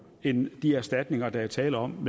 end de erstatninger der er tale om